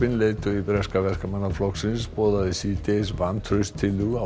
leiðtogi breska Verkamannaflokksins boðaði síðdegis vantrauststillögu á